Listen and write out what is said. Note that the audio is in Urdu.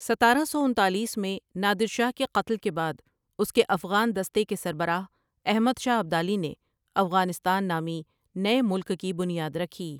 ستارہ سوانتالیس میں نادر شاہ کے قتل کے بعد اس کے افغان دستے کے سربراہ احمد شاہ ابدالی نے افغانستان نامی نئے ملک کی بنیاد رکھی۔